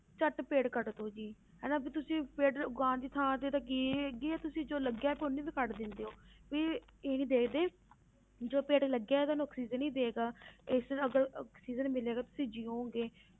ਝੱਟ ਪੇੜ ਕੱਟ ਦਓ ਜੀ ਹਨਾ ਵੀ ਤੁਸੀਂ ਪੇੜ ਉਗਾਉਣ ਦੀ ਥਾਂ ਤੇ ਤਾਂ ਕੀ ਤੁਸੀਂ ਜੋ ਲੱਗਿਆ ਹੈ ਉਹਨੂੰ ਵੀ ਕੱਟ ਦਿੰਦੇ ਹੋ ਵੀ ਇਹੀ ਦੇਖਦੇ ਜੋ ਪੇੜ ਲੱਗਿਆ ਹੈ ਤੁਹਾਨੂੰ ਆਕਸੀਜਨ ਹੀ ਦਏਗਾ ਇਸ ਲਈ ਅਗਰ ਆਕਸੀਜਨ ਮਿਲੇਗਾ ਤੁਸੀਂ ਜੀਓਗੇ।